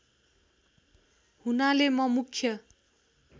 हुनाले म मुख्य